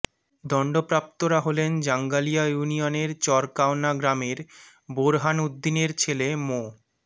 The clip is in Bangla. দণ্ডপ্রাপ্তরা হলেন জাঙ্গালিয়া ইউনিয়নের চরকাওনা গ্রামের বোরহান উদ্দিনের ছেলে মো